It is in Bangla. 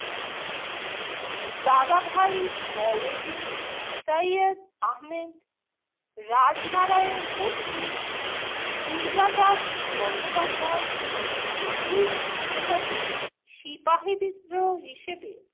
দাদাভাই নওরোজি, সৈয়দ আহমেদ, রাজনারায়ণ বসু, দুর্গাদাস বন্দ্যোপাধ্যায় এই বিদ্রোহকে সিপাহী বিদ্রোহ হিসেবে